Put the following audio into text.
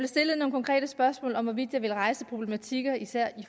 stillet nogle konkrete spørgsmål om hvorvidt jeg ville rejse nogle problematikker især i